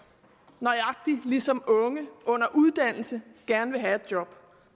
nøjagtig ligesom unge under uddannelse gerne vil have et job